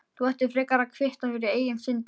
Þú ættir frekar að kvitta fyrir eigin syndir.